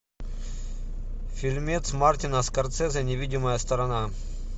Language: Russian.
фильмец мартина скорсезе невидимая сторона